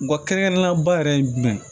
Nga kɛrɛnkɛrɛnnenya ba yɛrɛ ye jumɛn ye